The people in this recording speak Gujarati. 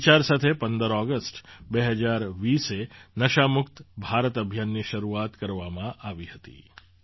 આ વિચાર સાથે ૧૫ ઑગસ્ટ ૨૦૨૦એ નશામુક્ત ભારત અભિયાનની શરૂઆત કરવામાં આવી હતી